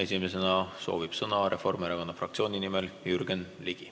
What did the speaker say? Esimesena soovib Reformierakonna fraktsiooni nimel sõna võtta Jürgen Ligi.